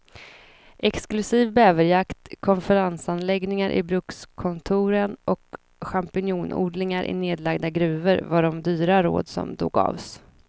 Exklusiv bäverjakt, konferensanläggningar i brukskontoren och champinjonodlingar i nedlagda gruvor var de dyra råd som då gavs.